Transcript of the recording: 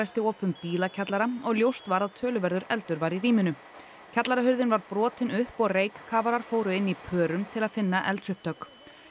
loftræstiopum bílakjallara og ljóst var að töluverður eldur var í rýminu var brotin upp og fóru inn í pörum til að finna eldsupptök